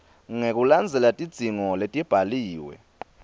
ngekulandzela tidzingo letibhaliwe